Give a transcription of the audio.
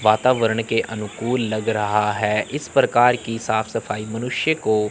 वातावरण के अनुकूल लग रहा है। इस प्रकार की साफ-सफाई मनुष्य को--